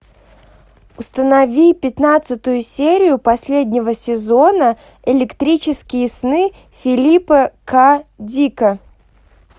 установи пятнадцатую серию последнего сезона электрические сны филипа к дика